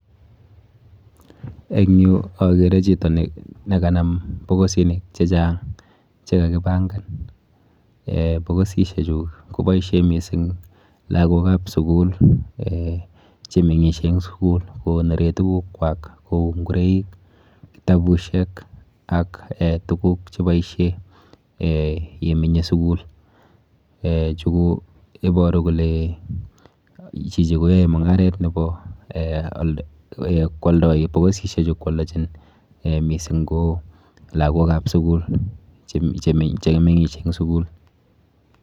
En yu okere chito nekanam bokisinik chechang chekakibangan, ee bokisisiechu koboisien misink lagokab sukul ee chemeng'isie en sukul kokonoren tugukwai kou ingoroik ,kitabusiek ak ee tuguk cheboisien ee yemenye sukul ee chu koiboru kole chichi koyoe mungaret kwoldoi bokisisiechu kwoldojin ee mising ko lagokab sukul chemeng'isie eng sukul.